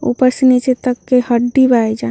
ऊपर से नीचे तक के हड्डी बा एइजा।